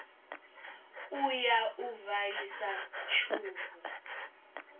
u ya u valisa tshubu